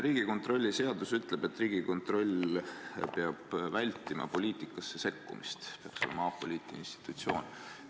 Riigikontrolli seadus ütleb, et Riigikontroll peab vältima poliitikasse sekkumist, peab olema apoliitiline institutsioon.